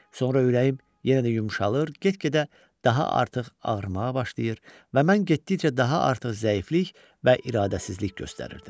Sonra ürəyim yenə də yumşalır, get-gedə daha artıq ağrımağa başlayır və mən getdikcə daha artıq zəiflik və iradəsizlik göstərirdim.